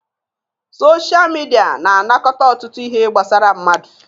Sochaa midia na anakọta ọtụtụ ihe gbasara mmadụ.